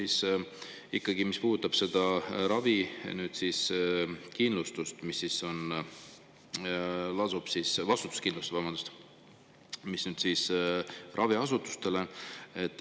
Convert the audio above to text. Ja teine küsimus puudutab seda vastutuskindlustust, mis lasub nüüd raviasutustel.